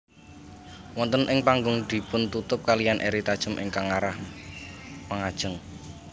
Wonten ing punggung dipuntutup kaliyan eri tajem ingkang ngarah mangajeng